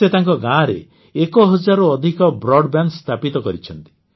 ସେ ତାଙ୍କ ଗାଁରେ ଏକ ହଜାରରୁ ଅଧିକ ବ୍ରଡବ୍ୟାଣ୍ଡ ସ୍ଥାପିତ କରିଛନ୍ତି